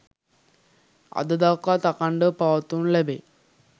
අද දක්වාත් අඛණ්ඩව පවත්වනු ලැබේ.